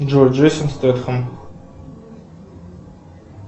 джой джейсон стэтхэм